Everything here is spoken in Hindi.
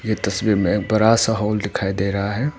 ये तस्वीर में बड़ा सा हॉल दिखाई दे रहा है।